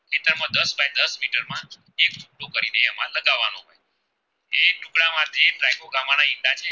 માના ઈંડા છે.